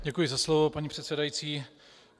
Děkuji za slovo, paní předsedající.